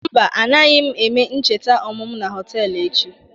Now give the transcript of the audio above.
Mba, anaghị m eme ncheta ọmụmụ na họtelụ echi.